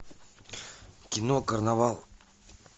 кино карнавал